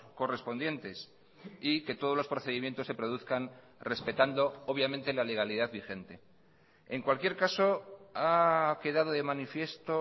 correspondientes y que todos los procedimientos se produzcan respetando obviamente la legalidad vigente en cualquier caso ha quedado de manifiesto